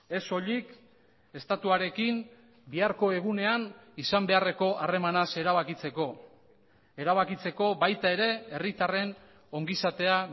ez soilik estatuarekin biharko egunean izan beharreko harremanaz erabakitzeko erabakitzeko baita ere herritarren ongizatea